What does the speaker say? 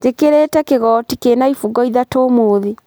Njĩkĩrĩte kĩgoti kĩna ibungo ithatũ ũmũthĩ